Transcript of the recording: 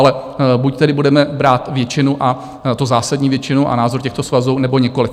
Ale buď tedy budeme brát většinu, a to zásadní většinu a názory těchto svazů, anebo nikoli.